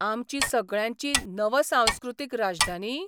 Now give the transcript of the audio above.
आमची सगळ्यांची नव सांस्कृतीक राजधानी?